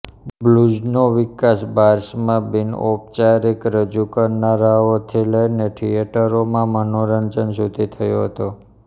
બ્લૂઝનો વિકાસ બાર્સમાં બિનઔપચારીક રજૂકરનારાઓથી લઇને થિયેટરોમાં મનોરંજન સુધી થયો હતો